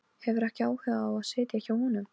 Hefur ekki áhuga á að sitja hjá honum.